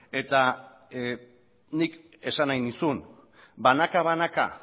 eta nik esan nahi nizun banaka banaka